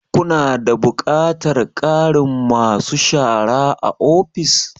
Ku na da buƙatar ƙarin ma su shara a ofis?